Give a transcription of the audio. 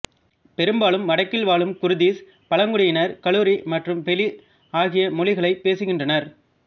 பெரும்பாலும் வடக்கில் வாழும் குர்திஷ் பழங்குடியினர் கலுரி மற்றும் ஃபெலி ஆகிய மொழிகளைப் பேசுகின்றனர்